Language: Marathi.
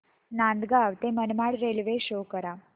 नांदगाव ते मनमाड रेल्वे शो करा